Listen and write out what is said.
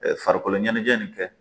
Farikolo ɲɛnajɛ nin kɛ